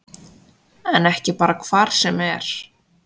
En ekki bara hvar sem er